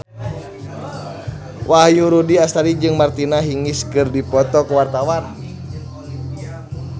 Wahyu Rudi Astadi jeung Martina Hingis keur dipoto ku wartawan